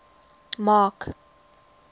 mark